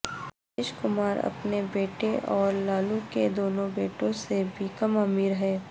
نتیش کمار اپنے بیٹے اور لالو کے دونوں بیٹوں سے بھی کم امیرہیں